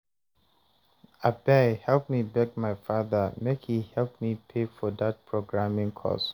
abeg help me beg my father make he help me pay for dat programing course